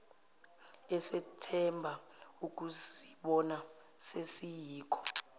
esethemba ukuzibona sesiyikho